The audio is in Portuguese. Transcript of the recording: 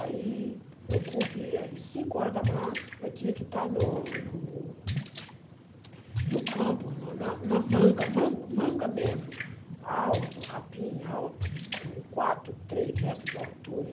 Aí, eu corria, às cinco horas da manhã, eu tinha que estar no no no campo, no na na manga, man manga mesmo, alto, capim alto, com quatro, três metros de altura.